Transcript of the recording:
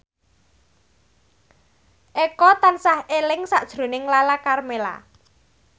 Eko tansah eling sakjroning Lala Karmela